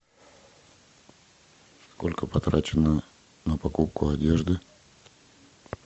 сколько потрачено на покупку одежды